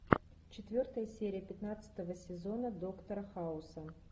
четвертая серия пятнадцатого сезона доктора хауса